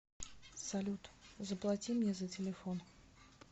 салют заплати мне за телефон